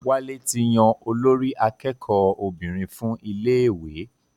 Wálé ti yan olórí akẹ́kọ̀ọ́ obìnrin fún iléèwé